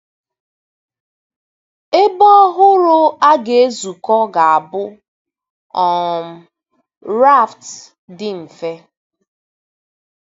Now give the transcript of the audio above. Ebe ọhụrụ a ga-ezukọ ga-abụ um raft dị mfe.